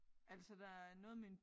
Altså der er noget med en